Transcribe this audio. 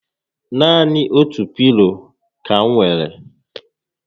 Naani otu pilo ka m nwèrè